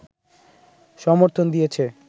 সমর্থন দিয়েছে